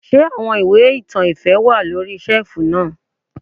Ṣé àwọn ìwé ìtàn ìfẹ́ wà lóri ṣẹ́ẹ̀fù náà.